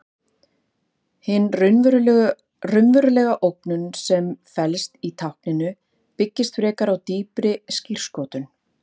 Hin raunverulega ógnun sem felst í tákninu byggist frekar á dýpri skírskotun.